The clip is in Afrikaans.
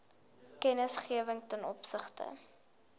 kennisgewing ten opsigte